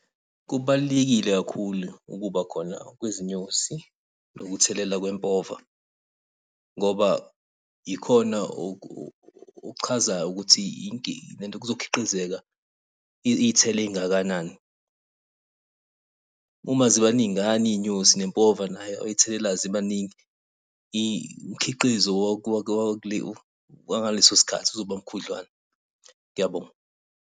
Kubalulekile kakhulu ukuba khona kwezinyosi, nokuthelela kwempova. Ngoba ikhona okuchazayo ukuthi lento kuzokhiqizeka iy'thelo ey'ngakanani. Uma ziba ningana iy'nyosi, nempova nayo oyithelelayo ziba ningi. Imikhiqizo wangaleso sikhathi uzoba mkhudlwana. Ngiyabonga.